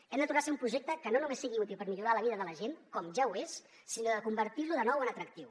hem de tornar a ser un projecte que no només sigui útil per millorar la vida de la gent com ja ho és sinó convertir lo de nou en atractiu